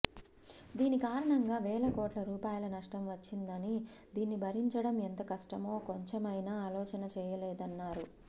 దీని కారణంగా వేల కోట్ల రూపాయల నష్టం వచ్చిందని దీన్ని భరించడం ఎంత కష్టమో కొంచెమైనా అలోచన చేయలేదన్నారు